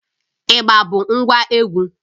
Ịgba bụ ngwa egwu